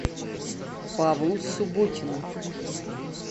павлу субботину